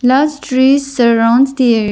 Lush trees surrounds the ar --